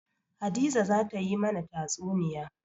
Hadiza za ta yi mana tatsuniya.